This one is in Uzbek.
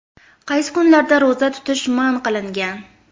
Qaysi kunlarda ro‘za tutish man qilingan?.